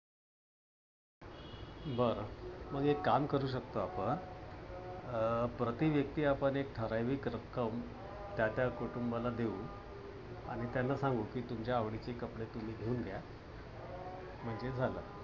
बर. मग एक कामं करू शकतो आपण अं प्रतिव्यक्ती आपण एक ठराविक रक्कम त्या त्या कुटुंबाला देऊ. आणि त्यांना सांगू कि तुमच्या आवडीचे कपडे तुम्ही घेऊन घ्या. अं म्हणजे झालं.